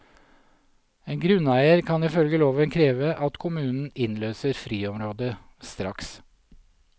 En grunneier kan ifølge loven kreve at kommunen innløser friområdet straks.